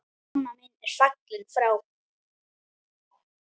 Mamma mín er fallin frá.